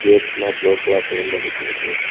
கேட்ல blue colour paint அடிச்சிருக்கு.